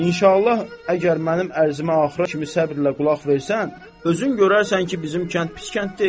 İnşallah, əgər mənim ərzimə axıra kimi səbirlə qulaq versən, özün görərsən ki, bizim kənd pis kənd deyil.